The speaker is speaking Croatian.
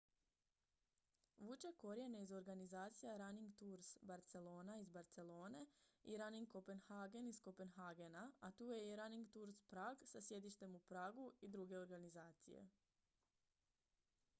vuče korijene iz organizacija running tours barcelona iz barcelone i running copenhagen iz kopenhagena a tu je i running tours prague sa sjedištem u pragu i druge organizacije